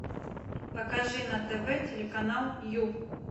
покажи на тв телеканал ю